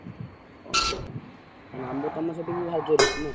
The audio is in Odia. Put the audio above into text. ଓହୋ, ତାହେଲେ ଆମ୍ବ ତମର ସେଠି ବି ଭାରି ଜୋରେ ହେଇଛି ନା?